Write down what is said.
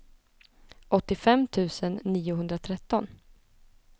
åttiofem tusen niohundratretton